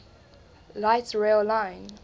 light rail line